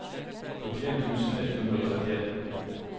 førtien tusen ett hundre og trettien